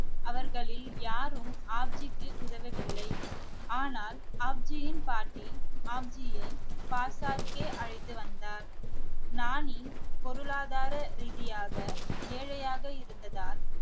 அவர்களில் யாரும் ஆப்ஜிக்கு உதவவில்லை ஆனால் ஆப்ஜியின் பாட்டி ஆப்ஜியை அழைத்து வந்தார் நானி பொருளாதார ரீதியாக ஏழையாக இருந்ததால்